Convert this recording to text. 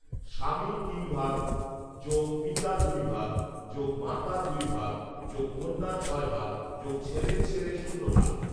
স্বামী তিন ভাগ যোগ পিতা দুই ভাগ যোগ মাতা দুই ভাগ যোগ কন্যা ছয় ভাগ যোগ ছেলের ছেলে শূন্য ভাগ